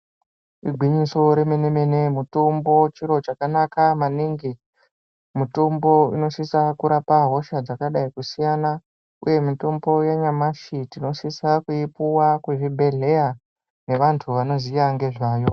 Igwinyiso remene mene mutombo chiro chakanaka maningi mutombo unosisa kurapa hosha dzakadai kusiyana uye mutombo yanyamashi yinosisa kuipuwa kuzvibhedhleya ngevantu vanoziya ngezvayo.